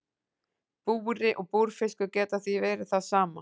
Búri og búrfiskur geta því verið það sama.